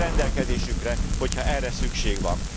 Állunk rendelkezésükre, hogyha erre szükség van.